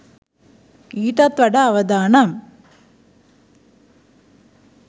ඊටත් වඩා අවදානම්.